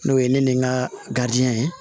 N'o ye ne ni n ka garidiɲɛ ye